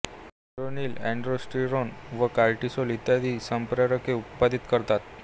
ती एड्रेनलिनअल्डोस्ट्रिरोन व कार्टीसोल इत्यादी संप्रेरके उत्पादित करते